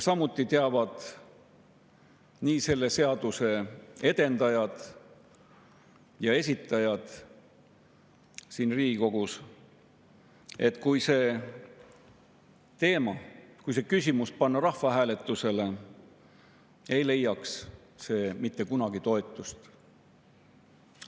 Samuti teavad selle seaduse edendajad ja esitajad siin Riigikogus, et kui see teema, kui see küsimus panna rahvahääletusele, ei leiaks see mitte kunagi toetust.